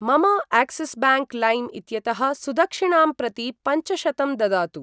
मम Axis bank लैम् इत्यतः सुदक्षिणां प्रति पञ्चशतं ददातु।